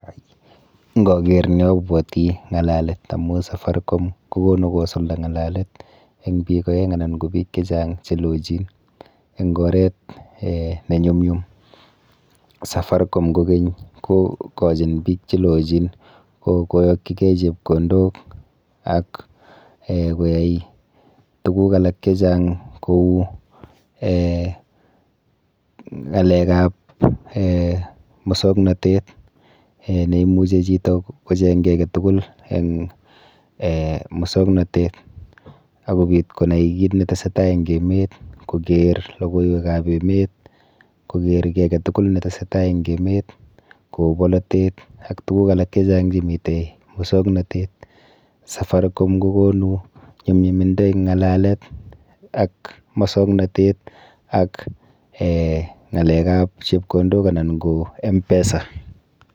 Nkaker ni abwoti ng'alalet amu Safaricom kokonu kosulda ng'alalet eng biik oeng anan ko biik chechang chelochin eng oret um nenyumnyum. Safaricom kokeny kokochin biik chelochin koyokchigei chepkondok ak um koyai tuguk alak chechang kou um ng'alekap um mosoknotet um neimuchi chito kocheng ki aketukul eng um mosiknotet ak kobit konai kit netesetai eng emet, koker logoiwekap emet, koker ki aketukul netesetai eng emet kou polotet ak tuguk alak chechang chemite mosoknotet. Safaricom kokonu nyumnyumindo eng ng'alalet ak mosoknotet, ak um ng'alekap chepkondok anan ko m-pesa.